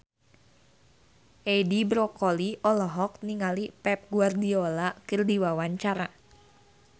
Edi Brokoli olohok ningali Pep Guardiola keur diwawancara